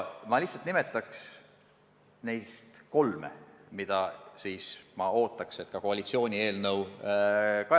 Ma nimetan neist kolme ja ootan, et koalitsiooni eelnõu puhul neid arvestatakse.